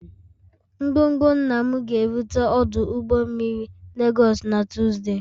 Ngwongwo nna m ga-erute ọdụ ụgbọ mmiri Lagos na Tuzdee